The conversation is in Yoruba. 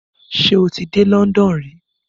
Ṣé ò ti dé London rí?